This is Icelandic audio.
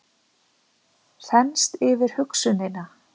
Þenst yfir hugsunina.